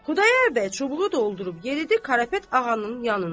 Xudayar bəy çubuğu doldurub yeridi Karapet Ağanın yanına.